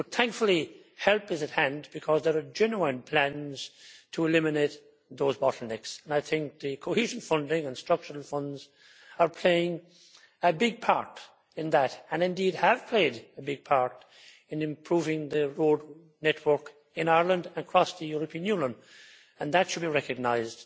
But, thankfully, help is at hand, because there are genuine plans to eliminate those bottlenecks. I think the Cohesion funding and Structural Funds are playing a big part in that, and indeed have played a big part in improving the road network in Ireland and across the European Union, and that should be recognised.